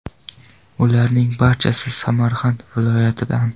Ularning barchasi Samarqand viloyatidan.